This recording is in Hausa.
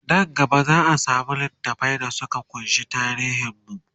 Nan gaba zaa samu littafai da Suka kunshi tarihin mu